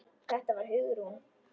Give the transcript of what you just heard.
Þetta var Hugrún.